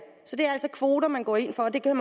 altså kvoter man går ind for og det kan